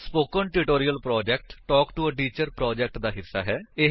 spoken tutorial project talk to a teacher project ਦਾ ਹਿੱਸਾ ਹੈ